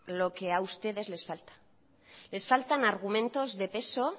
lo que ha ustedes les falta les faltan argumentos de peso